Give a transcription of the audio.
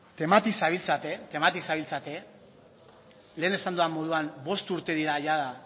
temati zabiltzate lehen esan dudan moduan bost urte dira jada